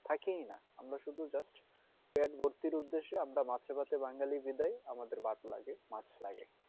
থাকেই না আমরা শুধু just পেত ভর্তির উদ্দেশ্যে আমরা মাছে ভাতে বাঙালি বিদায় আমাদের ভাত লাগে মাছ লাগে